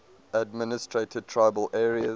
administered tribal areas